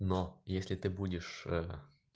но если ты будешь ээ